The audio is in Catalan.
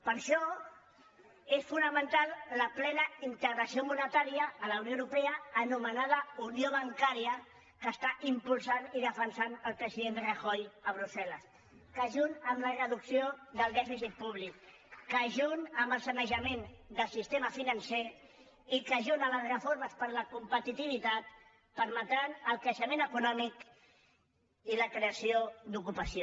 per això és fonamental la ple·na integració monetària a la unió europea anomena·da unió bancària que impulsa i defensa el president rajoy a brussel·les que junt amb la reducció del dè·ficit públic que junt amb el sanejament del sistema financer i que junt amb les reformes per a la competi·tivitat permetran el creixement econòmic i la creació d’ocupació